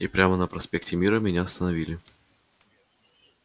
и прямо на проспекте мира меня остановили